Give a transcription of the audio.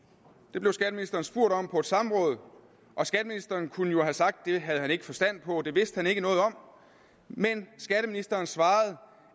det blev skatteministeren spurgt om på et samråd og skatteministeren kunne jo have sagt at det havde han ikke forstand på og at det vidste han ikke noget om men skatteministeren svarede